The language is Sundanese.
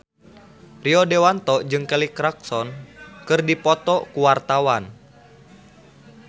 Rio Dewanto jeung Kelly Clarkson keur dipoto ku wartawan